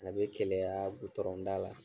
A be keleyaa gutɔrɔnda la.